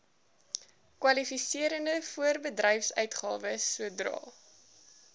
kwalifiserende voorbedryfsuitgawes sodra